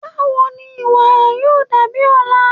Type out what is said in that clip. Bawo ni iwara yoo dabi ọla?